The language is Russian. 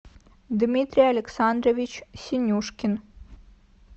дмитрий александрович синюшкин